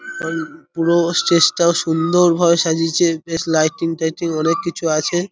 অই পুরো স্টেজটা -ও সুন্দরভাবে সাজিয়েছে বেশ লাইটিং টাইটিং অনেক কিছু আছে।